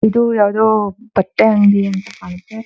ಇದು ಯಾವ್ದೋ ಬಟ್ಟೆ ಅಂಗಡಿ ಅಂತ ಕಾಣುತ್ತೆ.